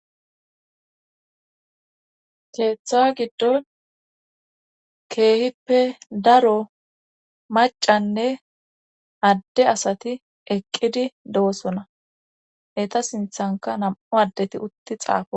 keeththawa giddon keehippe daro macanne adde asati eqqidi do7osona eta sinthanka nam7u addeti utti xaafo